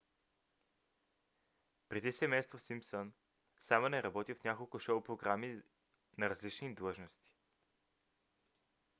преди семейство симпсън саймън е работил в няколко шоу програми на различни длъжности